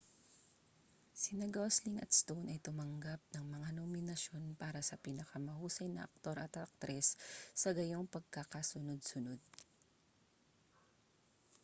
sina gosling at stone ay tumanggap ng mga nominasyon para sa pinakamahusay na aktor at aktres sa gayong pagkakasunod-sunod